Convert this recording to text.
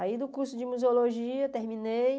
Aí, do curso de museologia, terminei.